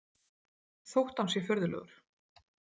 Þótt hann sé furðulegur.